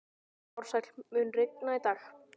Ársæl, mun rigna í dag?